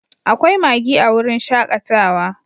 Akwai Maggie a wurin shakatawa